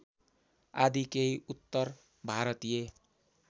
आदि केही उत्तरभारतीय